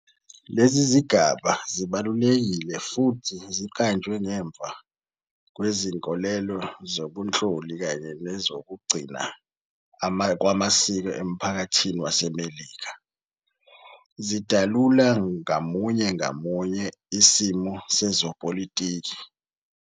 Lezi zigaba zibalulekile futhi ziqanjwe ngemva kwezinkolelo zobunhloli kanye nezoku gcina kwamasiko emphakathini wase Melika, zidalula ngamunye ngamunye isimo sezopolitiki.